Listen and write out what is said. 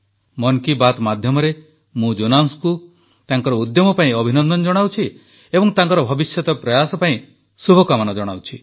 ମନ୍ କି ବାତ୍ ମାଧ୍ୟମରେ ମୁଁ ଜୋନାସଙ୍କୁ ତାଙ୍କର ଉଦ୍ୟମ ପାଇଁ ଅଭିନନ୍ଦନ ଜଣାଉଛି ଏବଂ ତାଙ୍କର ଭବିଷ୍ୟତ ପ୍ରୟାସ ପାଇଁ ଶୁଭେଚ୍ଛା ଜଣାଉଛି